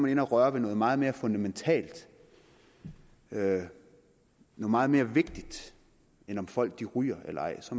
inde at røre ved noget meget mere fundamentalt noget meget mere vigtigt end om folk ryger eller ej så